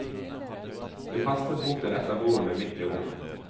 Hun hastet bort til et av bordene midt i rommet.